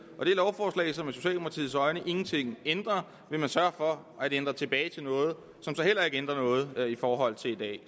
og det lovforslag som i socialdemokratiets øjne ingenting ændrer vil man sørge for at ændre tilbage til noget som så heller ikke ændrer noget i forhold til i dag